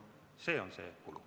See on see kulu.